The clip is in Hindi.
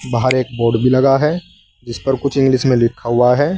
बाहर एक बोर्ड भी लगा है जिसपर कुछ इंग्लिश में लिखा हुआ है।